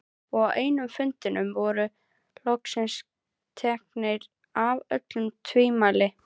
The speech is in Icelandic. Og á einum fundanna voru loksins tekin af öll tvímæli.